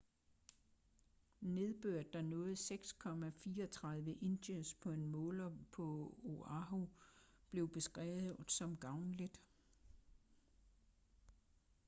nedbøret der nåede 6,34 inches på en måler på oahu blev beskrevet som gavnligt